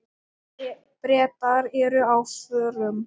Bretar eru á förum.